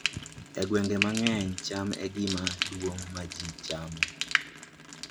E gwenge mang'eny, cham e gima duong' ma ji chamo